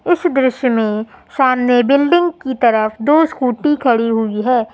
इस दृश्य में सामने बिल्डिंग की तरफ दो स्कूटी खड़ी हुई है।